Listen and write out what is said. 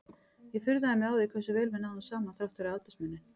Ég furðaði mig á því hversu vel við náðum saman þrátt fyrir aldursmuninn.